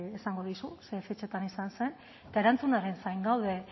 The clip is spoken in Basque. esango dizu zein fetxatan izan zen eta erantzunaren zain gaude